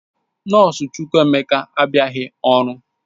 Nọọsụ Chukwuemeka abịaghị ọrụ